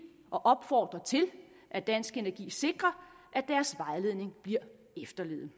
og opfordre til at dansk energi sikrer at deres vejledning bliver efterlevet